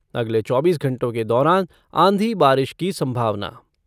अगले चौबीस घंटों के दौरान आंधी बारिश की संभावना।